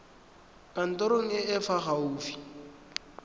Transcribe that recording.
kantorong e e fa gaufi